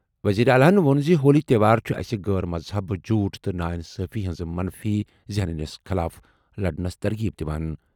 وزیر اعلیٰ ووٚن زِ ہولی تہوار چھُ اسہِ غٲر مذہب، جھوٹ تہٕ ناانصافی ہٕنٛز منفی ذہنیتَس خٕلاف لڑنٕچ ترغیب دِوان۔